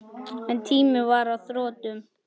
En tíminn var á þrotum.